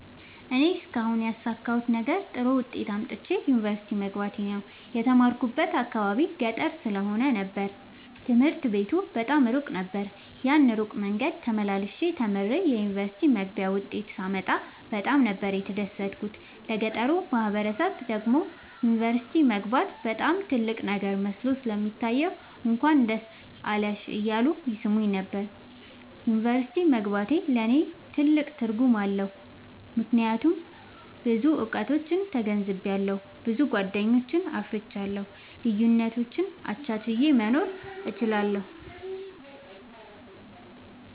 እኔ እስካሁን ያሣካሁት ነገር ጥሩ ዉጤት አምጥቼ ዩኒቨርሲቲ መግባቴ ነዉ። የተማርኩበት አካባቢ ገጠር ስለ ነበር ትምህርት ቤቱ በጣም እሩቅ ነበር። ያን እሩቅ መንገድ ተመላልሸ ተምሬ የዩኒቨርሲቲ መግቢያ ዉጤት ሳመጣ በጣም ነበር የተደሠትኩት ለገጠሩ ማህበረሠብ ደግሞ ዩኒቨርሲቲ መግባት በጣም ትልቅ ነገር መስሎ ስለሚታየዉ እንኳን ደስ አለሽ እያሉ ይሥሙኝ ነበር። ዩኒቨርሢቲ መግባቴ ለኔ ትልቅ ትርጉም አለዉ። ምክያቱም ብዙ እዉቀቶችን ተገንዝቤአለሁ። ብዙ ጎደኞችን አፍርቻለሁ። ልዩነቶችን አቻችየ መኖር እችላለሁ።